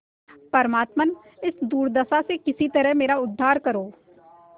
परमात्मन इस दुर्दशा से किसी तरह मेरा उद्धार करो